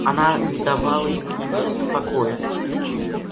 она не давала ему ни минуты покоя